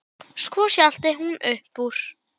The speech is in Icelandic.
Hver sem önnur.